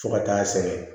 Fo ka taa sɛgɛn